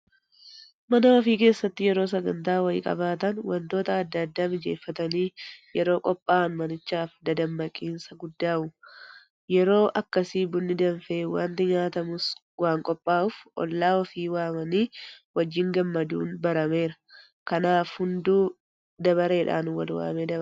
Mana ofii keessatti yeroo sagantaa wayii qabaatan waantota adda addaa mijeeffatanii yeroo qophaa'an manichaaf dammaqinsa guddaa uuma. Yeroo akkasii Bunni danfee waanti nyaatamus waanqophaa'uuf hollaa ofii waamanii wajjin gammaduun barameera. Kanaaf hunduu dabareedhaan walwaamee dabarsa.